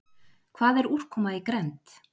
Hvað er úrkoma í grennd?